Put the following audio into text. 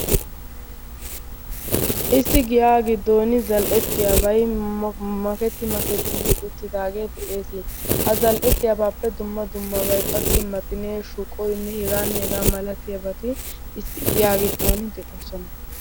Issi giyaa giddooni zal"ettiyabayi maketti maketti uttidaagee de'ees. Ha zal"ettiyabaappe dumma dummabay qassi maxinee, shuqoynne hegaanne hegaa malatiyabati issi giyaa giddon de'oosona.